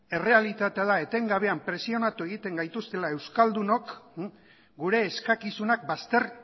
errealitatea da etengabean presionatu egiten gaituztela euskaldunok gure eskakizunak bazter